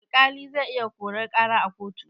Alƙali zai iya korar ƙara a kotu.